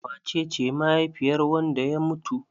Wace ce mahaifiyar wanda ya mutu?